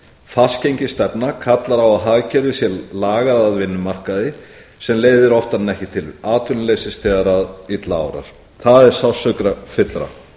fastgengisstefna kallar á að hagkerfið sé lagað að vinnumarkaði sem leiðir oftar en ekki til atvinnuleysis þegar illa árar það er sársaukafyllra